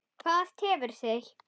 Hvað tefur þig?